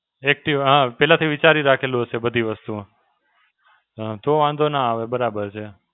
એકથી હાં પહેલાથી વિચારી રાખેલું હશે બધી વસ્તુઓ. હાં, તો વાંધો ના આવે બરાબર છે.